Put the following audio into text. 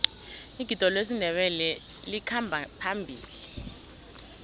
igido lesindebele likhamba phambili